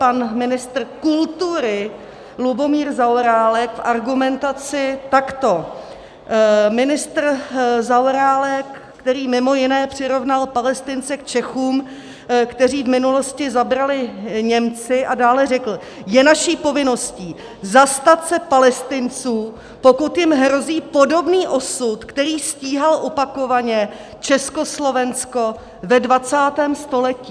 pan ministr kultury Lubomír Zaorálek v argumentaci takto - ministr Zaorálek, který mimo jiné přirovnal Palestince k Čechům, kteří v minulosti zabrali Němci, a dále řekl: Je naší povinností zastat se Palestinců, pokud jim hrozí podobný osud, který stíhal opakovaně Československo ve 20. století.